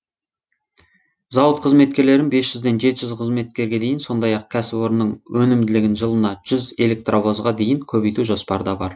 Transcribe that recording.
зауыт қызметкерлерін бес жүзден жеті жүзге қызметкерге дейін сондай ақ кәсіпорынның өнімділігін жылына жүз электровозға дейін көбейту жоспарда бар